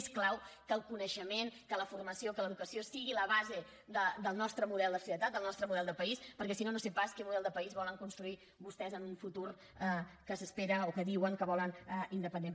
és clau que el coneixement que la formació que l’educació siguin la base del nostre model de societat del nostre model de país perquè si no no sé pas quin model de país volen construir vostès en un futur que s’espera o que diuen que volen independent